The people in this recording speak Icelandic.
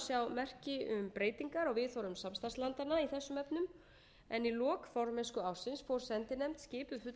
merki um breytingar á viðhorfum samstarfslandanna í þessum efnum en í lok formennskuársins fór sendinefnd skipuð fulltrúum